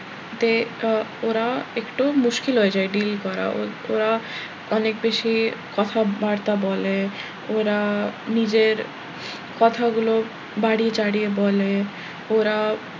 আহ ওরা একটু মুশকিল হয়ে যায় deal করা ওরা অনেক বেশি কথা বার্তা বলে ওরা নিজের কথাগুলো বারিয়ে চারিয়ে বলে ওরা,